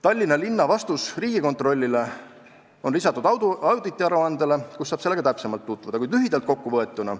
" Tallinna linna vastus Riigikontrollile on lisatud auditiaruandele, kus saab sellega täpsemalt tutvuda, kuid lühidalt kokku võetuna